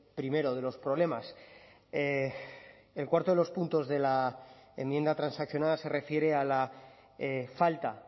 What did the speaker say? primero de los problemas el cuarto de los puntos de la enmienda transaccional se refiere a la falta